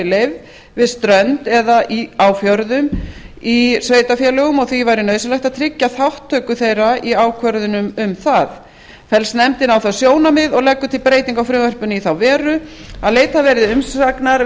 leyfð við strönd eða á fjörðum í sveitarfélögum og því væri nauðsynlegt að tryggja þátttöku þeirra í ákvörðunum um það fellst nefndin á það þau sjónarmið og leggur til breytingu á frumvarpinu í þá veru að leitað verði umsagnar